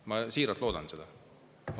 Ma siiralt loodan seda.